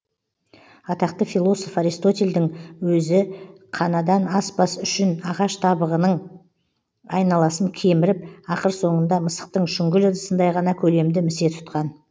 атақты философ аристотельдің өзі қанадан аспас үшін ағаш табағының айналасын кеміріп ақыр соңында мысықтың шүңгіл ыдысындай ғана көлемді місе тұтқан